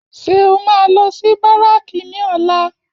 Ṣé o máa lọ sí báràkì ní ọ̀la?